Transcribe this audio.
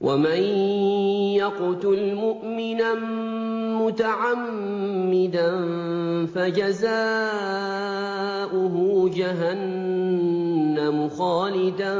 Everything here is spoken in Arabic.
وَمَن يَقْتُلْ مُؤْمِنًا مُّتَعَمِّدًا فَجَزَاؤُهُ جَهَنَّمُ خَالِدًا